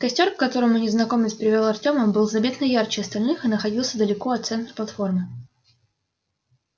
костёр к которому незнакомец привёл артема был заметно ярче остальных и находился далеко от центра платформы